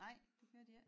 Nej det gør de æ